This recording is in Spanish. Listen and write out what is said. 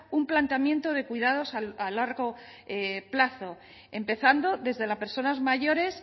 un planteamiento de cuidados a largo plazo empezando desde las personas mayores